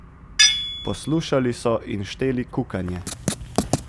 Poslušali so in šteli kukanje.